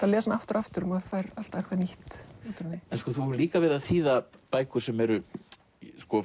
að lesa hana aftur og aftur og maður fær alltaf eitthvað nýtt þú hefur líka verið að þýða bækur sem eru